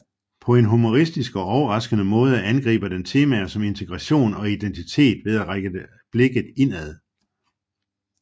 På en humoristisk og overraskende måde angriber den temaer som integration og identitet ved at rette blikket indad